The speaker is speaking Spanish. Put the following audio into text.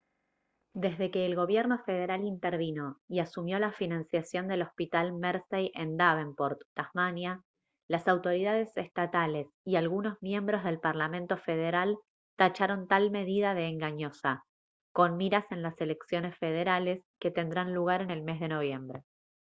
desde que el gobierno federal intervino y asumió la financiación del hospital mersey en davenport tasmania las autoridades estatales y algunos miembros del parlamento federal tacharon tal medida de engañosa con miras en las elecciones federales que tendrán lugar en el mes de noviembre